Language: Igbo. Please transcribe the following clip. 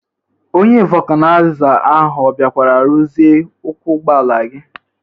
Onye vọkanaịza ahụ ọ bịakwara ruzie ụkwụ ụgbọala gi?